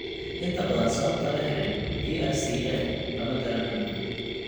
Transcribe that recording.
Inta badan, sababta la helay PRCA lama garanayo (idiopathic).